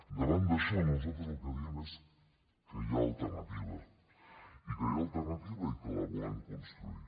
davant d’això nosaltres el que diem és que hi ha alternativa i que hi ha alternativa i que la volem construir